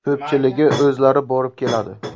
Ko‘pchiligi o‘zlari borib keladi.